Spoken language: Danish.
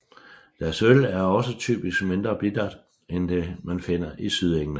Deres øl er også typisk mindre bittert end det man finder i Sydengland